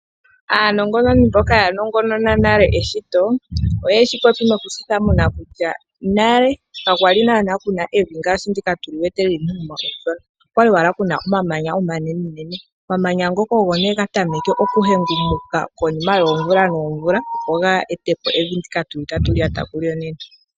Aanongononi mboka ya nongonona nale eshito, oyeshi popi noku shi thamuna kutya nale ka kwali naana kuna evi ngaashi ndika tuli wete . Okwali wala kuna omamanya omanenenene. Omamanya ngoka ogo nduno ga tameke oku hengumuka konima yoomvula noomvula opo ga ete po evi ndika tuli tatu lyata kulyo nena.